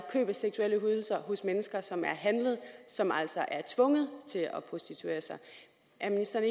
køb af seksuelle ydelser hos mennesker som er handlet og som altså er tvunget til at prostituere sig er ministeren